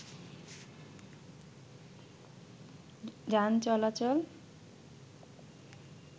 যান চলাচল